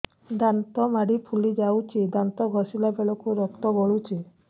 ଦାନ୍ତ ମାଢ଼ୀ ଫୁଲି ଯାଉଛି ଦାନ୍ତ ଘଷିଲା ବେଳକୁ ରକ୍ତ ଗଳୁଛି